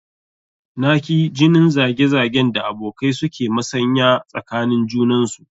Na ki jinin zage zagen da abokai su ke masanya tsakanin junansu